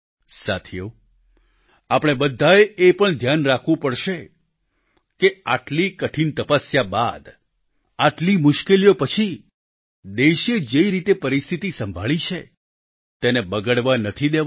સાથીઓ આપણે બધાએ એ પણ ધ્યાન રાખવું પડશે કે આટલી કઠીન તપસ્યા બાદ આટલી મુશ્કેલીઓ પછી દેશે જે રીતે પરિસ્થિતી સંભાળી છે તેને બગડવા નથી દેવાની